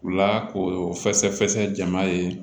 U la k'o fɛsɛ fɛsɛ jama ye